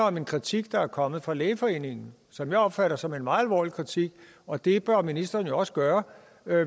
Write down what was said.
om en kritik der er kommet fra lægeforeningen som jeg opfatter som en meget alvorlig kritik og det bør ministeren jo også gøre